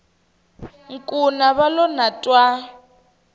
nkuna va lo na twa